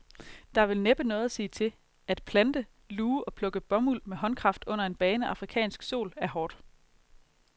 Der er vel næppe noget at sige til, at plante, luge og plukke bomuld med håndkraft under en bagende afrikansk sol er hårdt.